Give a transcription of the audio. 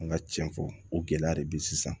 An ka cɛn fɔ o gɛlɛya de be sisan